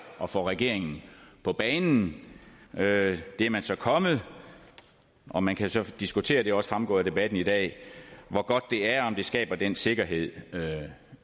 at få regeringen på banen det er man så kommet og man kan så diskutere det er også fremgået af debatten i dag hvor godt det er og om det skaber den sikkerhed